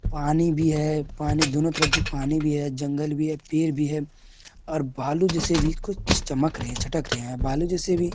पानी भी है पानी दोनो तरफ भी पानी भी है जंगल भी है पेड़ भी है और बालू जैसे भी कुछ चमक रहे है चटक रहे है बालू जैसे भी---